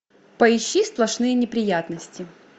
поищи сплошные неприятности